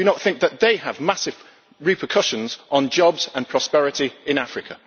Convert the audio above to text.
Do you not think that they have massive repercussions on jobs and prosperity in Africa?